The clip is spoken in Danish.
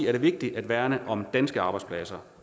er det vigtigt at værne om danske arbejdspladser